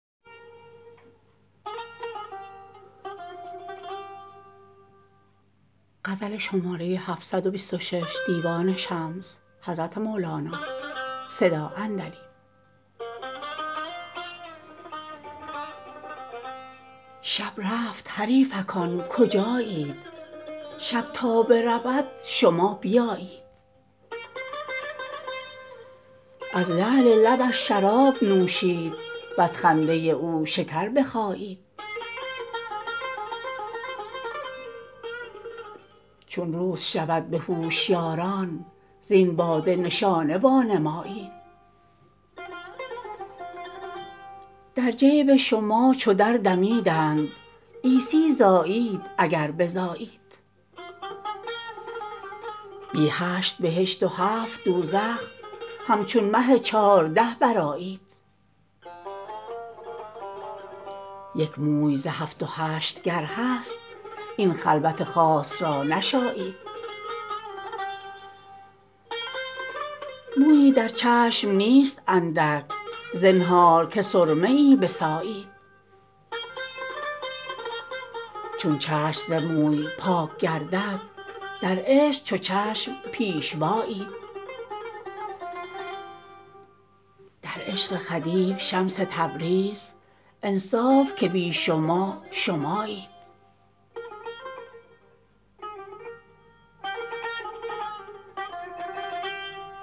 شب رفت حریفکان کجایید شب تا برود شما بیایید از لعل لبش شراب نوشید وز خنده او شکر بخایید چون روز شود به هوشیاران زین باده نشانه وانمایید در جیب شما چو دردمیدند عیسی زایید اگر بزایید بی هشت بهشت و هفت دوزخ همچون مه چهارده برآیید یک موی ز هفت و هشت گر هست این خلوت خاص را نشایید مویی در چشم نیست اندک زنهار که سرمه ای بسایید چون چشم ز موی پاک گردد در عشق چو چشم پیشوایید در عشق خدیو شمس تبریز انصاف که بی شما شمایید